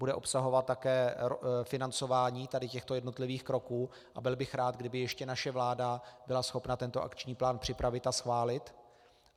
Bude obsahovat také financování tady těchto jednotlivých kroků a byl bych rád, kdyby ještě naše vláda byla schopna tento akční plán připravit a schválit.